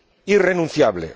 irrenunciable.